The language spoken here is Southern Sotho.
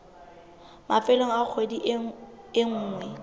mafelong a kgwedi e nngwe